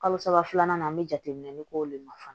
Kalo saba filanan na an be jateminɛ k'o le nafolo fana